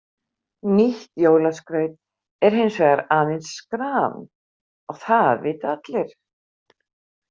Nýtt jólaskraut er hins vegar aðeins skran og það vita allir.